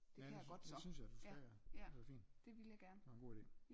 Ja det synes jeg du skal ja det er da fint det er en god ide